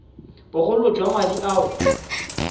bogolo jwa madi a o